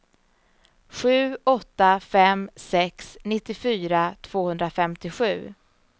sju åtta fem sex nittiofyra tvåhundrafemtiosju